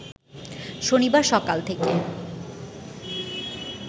শনিবার সকাল থেকে